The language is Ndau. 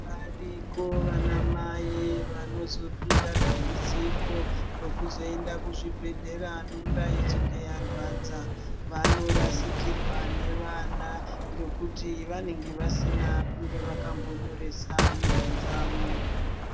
Varipo vana Mai vanozopinda dambudziko rekuzoenda kuzvibhedhleya mimba ichinge yarwadza. Vanorasikirwa nevana ngekuti vanenge vasina kunge vakambonyoresa mimba dzavo.